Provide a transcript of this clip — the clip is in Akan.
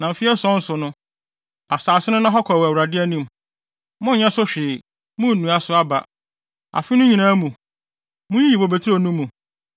Na mfe ason so no, asase no nna hɔ kwa wɔ Awurade anim. Monnyɛ so hwee. Munnnua so aba. Afe no nyinaa mu, munnyiyi mo bobe nturo no mu.